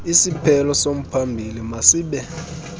isiphelo somphambili masibe